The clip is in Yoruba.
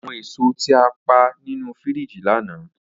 Awọn èso ti a pa ninu firiji lana.